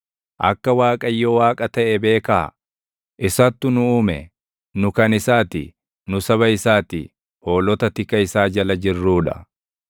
Akka Waaqayyo Waaqa taʼe beekaa; isattu nu uume; nu kan isaa ti; nu saba isaa ti; hoolota tika isaa jala jirruu dha.